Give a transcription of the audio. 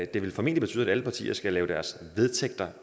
det vil formentlig betyde at alle partier skal lave deres vedtægter